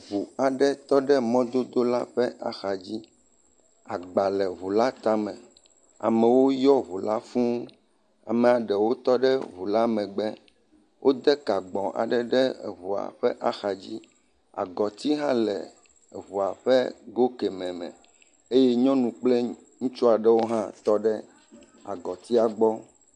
Ŋu aɖe tɔ ɖe mɔdodo la ƒe axa dzi. Agba le ŋu la tame. Amewo yɔ ŋu la fuu. Amea ɖewo tɔ ɖe ŋu la megbe. Wode ka gbɔ aɖe ɖe ŋua ƒe axa dzi. Agɔti hã le eŋua ƒe go kɛme me eye nyɔnu kple ŋutsu aɖewo hã tɔ ɖe agɔtia gbɔ.